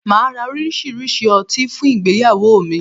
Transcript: Màá ra oríṣiríṣi ọtí fún ìgbéyàwó mi